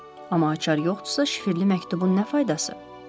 Amma açar yoxdursa şifrli məktubun nə faydası?